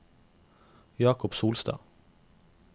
Jakob Solstad